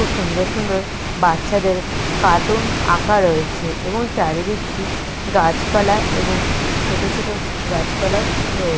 খুব সুন্ধর সুন্দর বাচ্চাদের কার্টুন আঁকা রয়েছে এবং চারিদিকটি গাছপালা এবং ছোট ছোট গাছপালাও রয়ে--